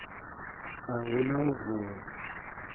a hu na u vuwa